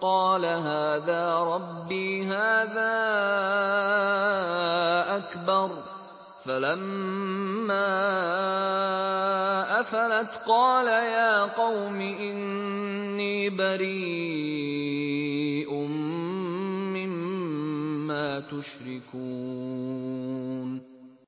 قَالَ هَٰذَا رَبِّي هَٰذَا أَكْبَرُ ۖ فَلَمَّا أَفَلَتْ قَالَ يَا قَوْمِ إِنِّي بَرِيءٌ مِّمَّا تُشْرِكُونَ